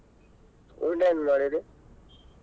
ಊಟ ಏನ್ ಮಾಡಿರೀ.